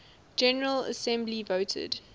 general assembly voted